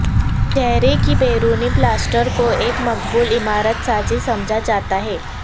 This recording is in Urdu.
چہرے کی بیرونی پلاسٹر کو ایک مقبول عمارت سازی سمجھا جاتا ہے